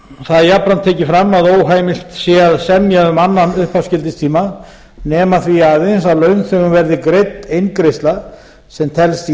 það er jafnframt tekið fram að óheimilt sé að semja um annan upphafsgildistíma nema því aðeins að launþegum verði greidd eingreiðsla sem telst